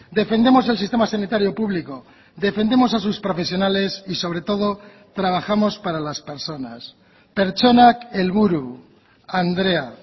defendemos el sistema sanitario público defendemos a sus profesionales y sobre todo trabajamos para las personas pertsonak helburu andrea